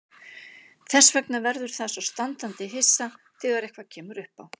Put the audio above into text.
Þess vegna verður það svo standandi hissa þegar eitthvað kemur uppá.